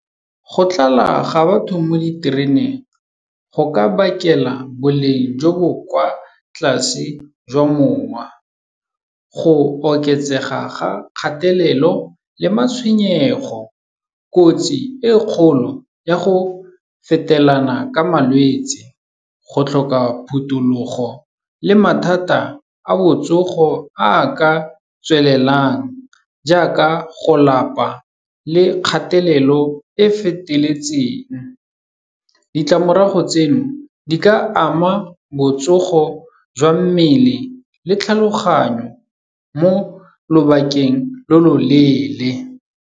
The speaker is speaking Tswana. Go tlala ga batho mo ditereneng go ka bakela boleng jo bo kwa tlase jwa mowa, go oketsega ga kgatelelo le matshwenyego, kotsi e kgolo ya go fetelana ka malwetse, go tlhoka phuthulogo le mathata a botsogo a ka tswelelang, jaaka go lapa le kgatelelo e feteletseng. Ditlamorago tseno di ka ama botsogo jwa mmele le tlhaloganyo mo lobakeng lo loleele.